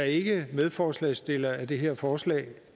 ikke er medforslagsstiller af det her forslag